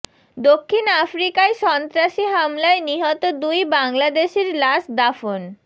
দক্ষিণ আফ্রিকায় সন্ত্রাসী হামলায় নিহত দুই বাংলাদেশির লাশ দাফন